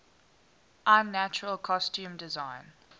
unnatural costume design